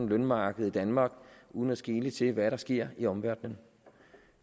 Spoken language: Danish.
lønmarked i danmark uden at skele til hvad der sker i omverdenen